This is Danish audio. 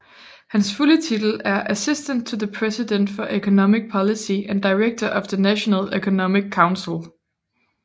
Hans fulde titel er Assistant to the President for Economic Policy and Director of the National Economic Council